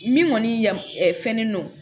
Min kɔni ya ɛ fɛn don